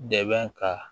Dɛmɛ ka